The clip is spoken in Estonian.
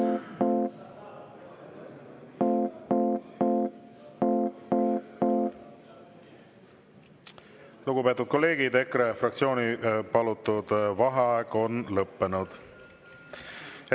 Lugupeetud kolleegid, EKRE fraktsiooni palutud vaheaeg on lõppenud.